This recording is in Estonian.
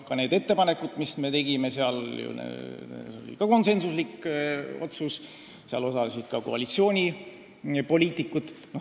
Ka need ettepanekud, mis me selle strateegia kohta tegime, olid konsensuslikud, nende tegemises osalesid ka koalitsioonipoliitikud.